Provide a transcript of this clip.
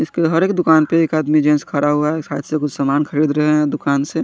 इसके हर एक दुकान पर एक आदमी जेन्स खड़ा हुआ है सायद से कुछ सामान खरीद रहे है दुकान से।